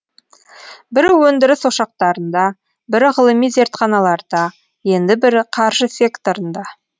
бірі өндіріс ошақтарында бірі ғылыми зертханаларда енді бірі қаржы секторында